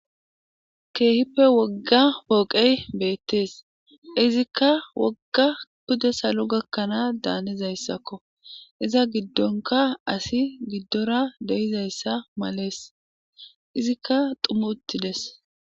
k Keehippe wogga pooqey beettees izikka wogga pude salo gakkanaa daanizayssakko iza giddonka asi giddora deyizayssa malees izikka dhumi utides.